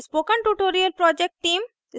spoken tutorial project team: